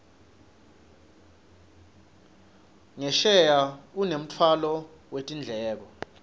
ngesheya unemtfwalo wetindleko